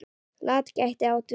LAT gæti átt við